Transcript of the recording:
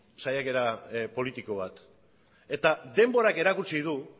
saiakera politiko bat eta denborak erakutsi du